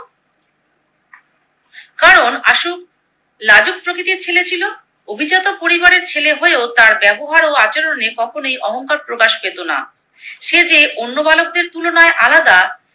কারণ আশু লাজুক প্রকৃতির ছেলে ছিলো। অভিজাত পরিবারের ছেলে হয়েও তার ব্যবহার ও আচরণে কখনোই অহংকার প্রকাশ পেতো না। সে যে অন্য বালকদের তুলনায় আলাদা